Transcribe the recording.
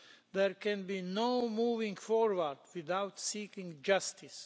There can be no moving forward without seeking justice.